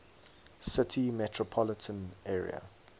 city metropolitan area